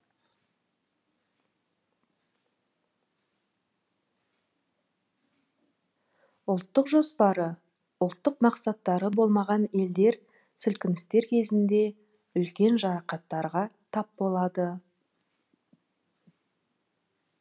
ұлттық жоспары ұлттық мақсаттары болмаған елдер сілкіністер кезінде үлкен жарақаттарға тап болады